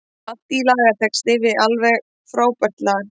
Allt í lagitexti við alveg frábært lag.